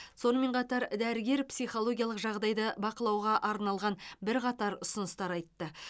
сонымен қатар дәрігер психологиялық жағдайды бақылауға арналған бірқатар ұсыныстар айтты